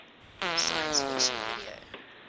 science fiction video